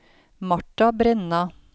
Marta Brenna